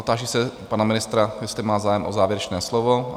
Táži se pana ministra, jestli má zájem o závěrečné slovo?